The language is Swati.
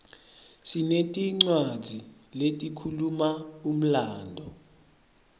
sinetincwadzi letikhuluma umlandvo